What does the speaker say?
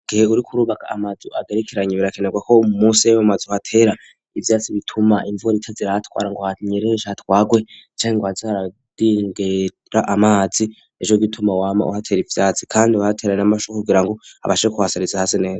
Igihe uri kurubaka amazu agarikiranye birakenerwa ko musi y'emamazi hatera ibyatsi bituma imvura itazira hatwara ngo hanyereyeshe hatwagwe icani ngo hazaradingera amazi ejo gituma wama uhatera ibyatsi kandi batera n'amashu kugira ngo abashe kuhasariza hase neza.